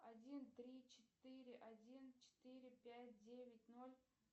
один три четыре один четыре пять девять ноль